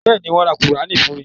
Bẹ́ẹ̀ni, wọ́n ra Kùránì fún mi.